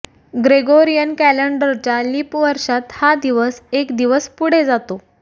Gregorian कॅलेंडरच्या leap वर्षात हा दिवस एक दिवस पुढे जातो